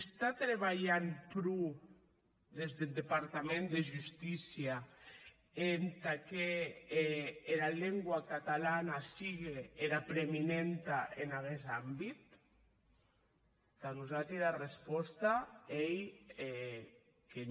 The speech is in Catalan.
se trabalhe pro des deth departament de justícia entà qu’era lengua catalana sigue era preeminenta en aguest àmbit tà nosati era responsa ei que non